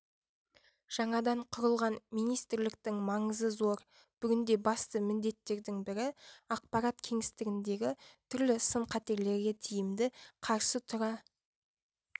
жаңадан құрылған министрліктің маңызы зор бүгінде басты міндеттердің бірі ақпарат кеңістігіндегі түрлі сын-қатерлерге тиімді қарсы тұра